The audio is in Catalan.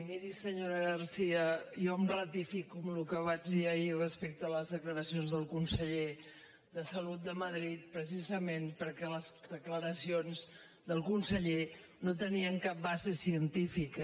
miri senyora garcía jo em ratifico en allò que vaig dir ahir respecte a les declaracions del conseller de salut de madrid precisament perquè les declaraci·ons del conseller no tenien cap base científica